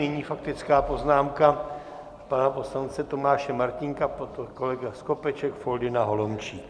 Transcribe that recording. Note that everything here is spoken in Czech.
Nyní faktická poznámka pana poslance Tomáše Martínka, pak kolega Skopeček, Foldyna, Holomčík.